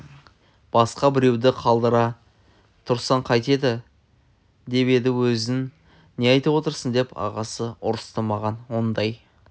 басқа біреуді қалдыра тұрсаң қайтеді деп еді өзің не айтып отырсың деп ағасы ұрысты маған ондай